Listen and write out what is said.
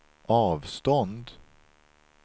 avstånd